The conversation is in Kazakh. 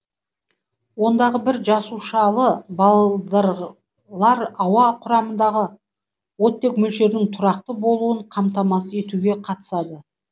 ондағы бір жасушалы балдырлар ауа құрамындағы оттек мөлшерінің тұрақты болуын қамтамасыз етуге катысады